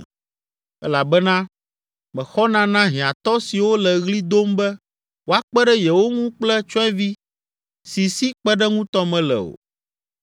elabena mexɔna na hiãtɔ siwo le ɣli dom be woakpe ɖe yewo ŋu kple tsyɔ̃evi si si kpeɖeŋutɔ mele o.